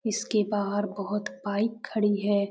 इसके बाहर बहुत बाइक खड़ी है।